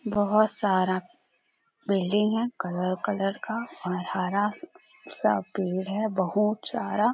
बहुत सारा बिल्डिंग है कलर कलर का और हरा सा पेड़ है बहुत सारा।